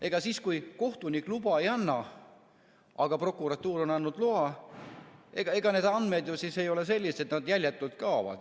Ega siis, kui kohtunik luba ei anna, aga prokuratuur on andnud loa, need andmed jäljetult ei kao.